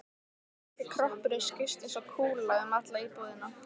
Og litli kroppurinn skaust eins og kúla um alla íbúðina.